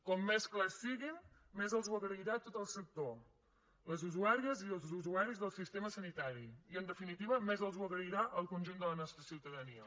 com més clars siguin més els ho agrairà tot el sector les usuàries i els usuaris del sistema sanitari i en definitiva més els ho agrairà el conjunt de la nostra ciutadania